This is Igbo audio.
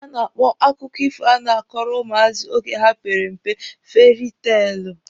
A na-akpọ akụkọ ifo a na-akọrọ ụmụazị oge ha pere mpe fieri teelụ.